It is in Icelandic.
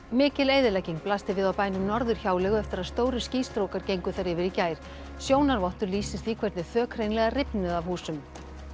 mikil eyðilegging blasti við á bænum Norðurhjáleigu eftir að stórir gengu þar yfir í gær sjónarvottur lýsir því hvernig þök hreinlega rifnuðu af húsum